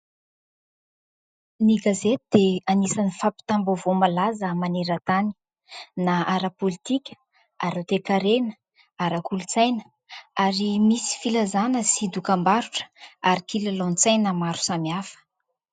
Ny gazety dia anisany fampitam-baovao malaza maneran-tany na ara-pôlitika, ara-toekarena, ara-kolontsaina ary misy filazana sy dokam-barotra ary kilalao an-tsaina maro samihafa.